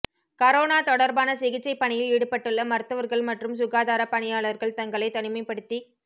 corona தொடா்பான சிகிச்சை பணியில் ஈடுபட்டுள்ள மருத்துவா்கள் மற்றும் சுகாதாரப் பணியாளா்கள் தங்களைத் தனிமைப்படுத்திக்